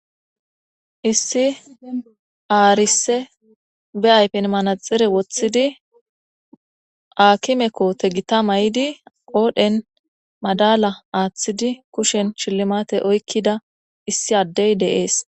Issi aarise be aypin manaxire woththidi aakimekoote gita may7idi qoodhen madala aaththidi kushen shilimate oykkida issi addey deees.